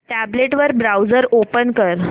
tablet वर browser open कर